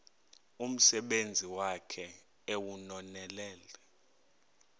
umsebenzi wakhe ewunonelele